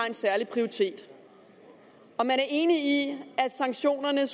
en særlig prioritet og man er enig i at sanktionerne